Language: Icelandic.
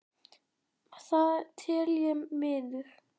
Það tel ég miður.